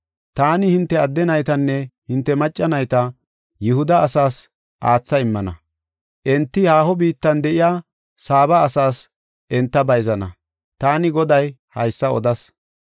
Taani hinte adde naytanne hinte macca nayta Yihuda asaas aatha immana. Enti haaho biittan de7iya Saaba asaas enta bayzana. Taani Goday haysa odas.